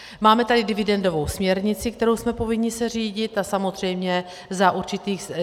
Máme tady dividendovou směrnici, kterou jsme povinni se řídit, a samozřejmě za určitých...